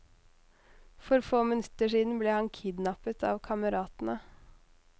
For få minutter siden ble han kidnappet av kameratene.